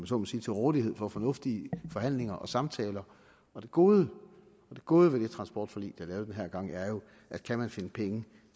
så må sige til rådighed for fornuftige forhandlinger og samtaler og det gode gode ved det transportforlig er lavet den her gang er jo at kan man finde penge